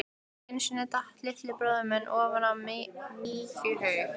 Einu sinni datt litli bróðir minn ofan í mykjuhaug.